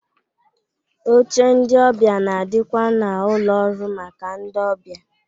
Oche ndị ọbịa na-adịkwa n'ụlọ ọrụ maka ndị ọbịa